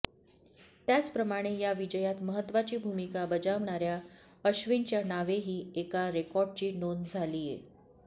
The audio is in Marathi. त्याचप्रमाणे या विजयात महत्त्वाची भूमिका बजावणाऱ्या अश्विनच्या नावेही एका रेकॉर्डची नोंद झालीये